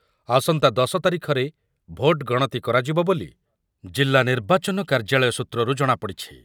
ଆସନ୍ତା ଦଶ ତାରିଖରେ ଭୋଟ ଗଣତି କରାଯିବ ବୋଲି ଜିଲ୍ଲା ନିର୍ବାଚନ କାର୍ଯ୍ୟାଳୟ ସୂତ୍ରରୁ ଜଣାପଡିଛି।